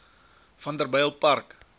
vanderbijlpark